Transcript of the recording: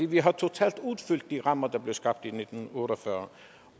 vi har totalt udfyldt de rammer der blev skabt i nitten otte og fyrre